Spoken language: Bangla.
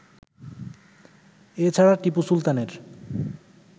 এ ছাড়া টিপু সুলতানের